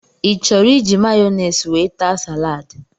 I chọrọ iji Mayonaise wee taa salaadi?